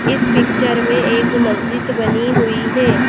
इस पिक्चर में एक मस्जिद बनी हुई है।